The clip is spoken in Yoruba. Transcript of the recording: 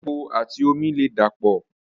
Epo àti omi ò lè dà pọ̀